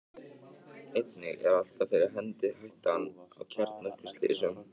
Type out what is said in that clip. einnig er alltaf fyrir hendi hættan á kjarnorkuslysum